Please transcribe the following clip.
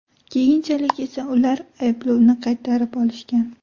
Keyinchalik esa ular ayblovni qaytarib olishgan.